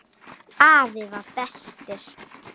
Afi var bestur.